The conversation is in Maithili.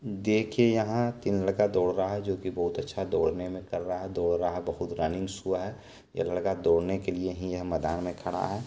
देखिए यहां तीन लड़का दौड़ रहा हैजो की बहुत अच्छा दौड़ने में कर रहा है दौड़ रहा है बहुत रनिंग सो यह लड़का दौड़ने के लिए ही यहा मैदान में खड़ा है।